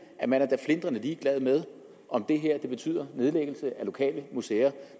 at man da er flintrende ligeglad med om det her betyder nedlæggelse af lokale museer